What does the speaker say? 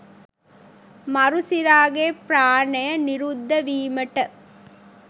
මරු සිරාගේ ප්‍රාණය නිරුද්ධ වීමට